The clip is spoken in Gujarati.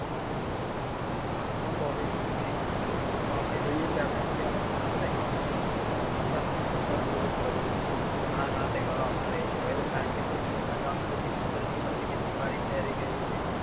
આજનો વિષય છે તહેવારો આપણે જોઈએ છીએ કે india માં દરરોજ તહેવારો આવે છે હવે તો ખબર નથી પડતી કે સમય ક્યાં જાય છે દીવાળી ક્યારે આવીને નીકળી જાય છે.